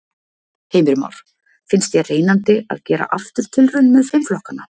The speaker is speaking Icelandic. Heimir Már: Finnst þér reynandi að gera aftur tilraun með fimm flokkana?